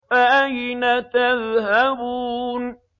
فَأَيْنَ تَذْهَبُونَ